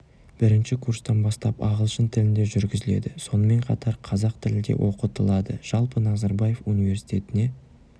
бірінші курстан бастап ағылшын тілінде жүргізіледі сонымен қатар қазақ тілі де оқытылады жалпы назарбаев университетіне